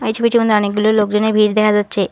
ছবিটির মধ্যে অনেকগুলো লোকজনের ভিড় দেখা যাচ্ছে।